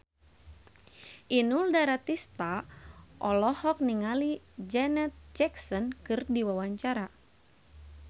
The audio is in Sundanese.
Inul Daratista olohok ningali Janet Jackson keur diwawancara